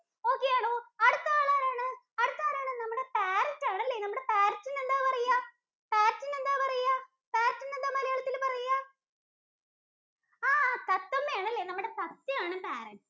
Okay ആണോ? അടുത്തത് ആളാരാണ്? അടുത്തത് ആരാണ്? നമ്മുടെ Parrot ആണല്ലേ. നമ്മുട Parrot ഇന് എന്താണ് പറയാ? Parrot ഇന് എന്താ പറയാ? Parrot ഇന് എന്താ മലയാളത്തിൽ പറയാ ആഹ് തത്തമ്മയാണല്ലേ. നമ്മുടെ തത്തയാണ് ഈ Parrot.